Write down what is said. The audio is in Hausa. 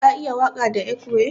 Ka iya waka da ekwe?